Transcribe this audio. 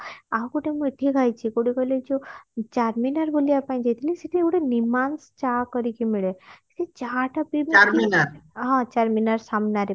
ଆଉ ଗୋଟେ ମୁଁ ଏଠି ଖାଇଛି କୋଉଠି କହିଲ ଏ ଯୋଉ ଚାରମିନାର ବୁଲିବା ପାଇଁ ଯାଇଥିଲି ସେଠି ଗୋଟେ ନିମାଂଶ ଚା କରିକି ମିଳେ ସେ ଚାହା ଟା ହଁ ଚାରମିନାର ସାମ୍ନାରେ